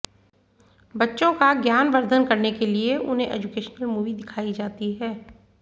बच्चों का ज्ञानवद्र्धन करने के लिए उन्हें एजुकेशनल मूवी दिखाई जाती है